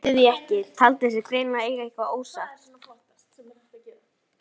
Hún hlýddi því ekki, taldi sig greinilega eiga eitthvað ósagt.